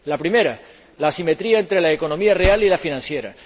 La primera, la asimetría entre la economía real y la financiera.